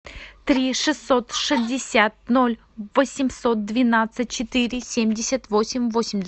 три шестьсот шестьдесят ноль восемьсот двенадцать четыре семьдесят восемь